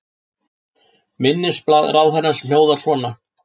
Minnisblað ráðherrans hljóðar svo